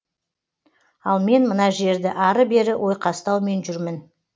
ал мен мына жерді ары бері ойқастаумен жүрмін